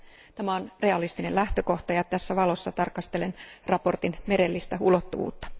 Tämä on realistinen lähtökohta, ja tässä valossa tarkastelen mietinnön merellistä ulottuvuutta.